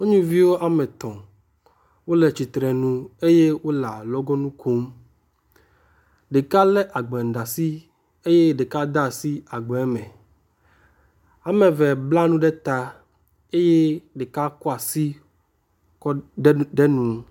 Nyɔnuviwo wɔme etɔ̃ wo le tsitrenu eye wo le alɔgɔnu kom. Ɖeka le agba ɖe asi eye ɖeka de asi agba me. Ame eve bla nu ɖe ta eye ɖeka kɔ asikɔ de nu.